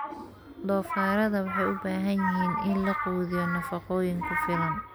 Doofaarada waxay u baahan yihiin in la quudiyo nafaqooyin ku filan.